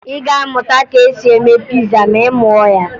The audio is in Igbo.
Ị ga-amụta ka e si eme piza ma ị mụọ ya